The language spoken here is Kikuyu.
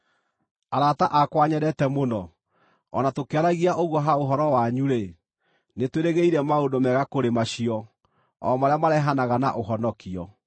Arata akwa nyendete mũno, o na tũkĩaragia ũguo, ha ũhoro wanyu-rĩ, nĩtwĩrĩgĩrĩire maũndũ mega kũrĩ macio, o marĩa marehanaga na ũhonokio.